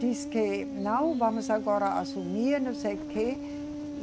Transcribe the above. Diz que não, vamos agora assumir, não sei o quê.